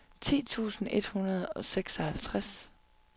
ti tusind et hundrede og seksoghalvtreds